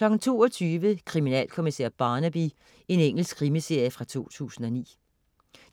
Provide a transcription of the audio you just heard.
22.00 Kriminalkommissær Barnaby. Engelsk krimiserie fra 2009